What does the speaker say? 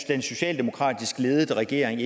den socialdemokratisk ledede regering